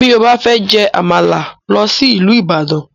Bí ó bá fẹ́ jẹ Àmàlà, lọ sí ìlú Ibadan